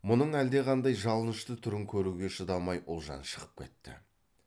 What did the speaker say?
мұның әлдеқандай жалынышты түрін көруге шыдамай ұлжан шығып кетті